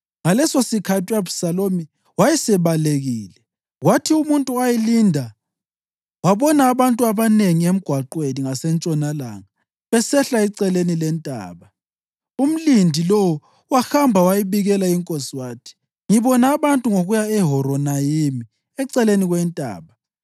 Ngalesosikhathi u-Abhisalomu wayesebalekile. Kwathi umuntu owayelinda wabona abantu abanengi emgwaqweni ngasentshonalanga, besehla eceleni lentaba. Umlindi lowo wahamba wayabikela inkosi wathi, “Ngibona abantu ngokuya eHoronayimi, eceleni kwentaba.”